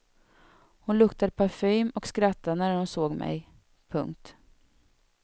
Hon luktade parfym och skrattade när hon såg mej. punkt